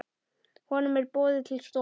Honum er boðið til stofu.